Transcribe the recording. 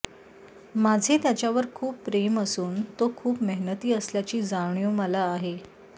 माझे त्याच्यावर खूप प्रेम असून तो खूप मेहनती असल्याची जाणीव मला आहे